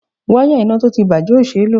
Wáyà iná tó ti bàjé o ṣé ló.